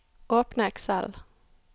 Åpne Excel